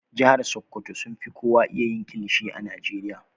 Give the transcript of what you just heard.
Jihar sokoto sun fi kowa iya yin kilishi a Najeriya.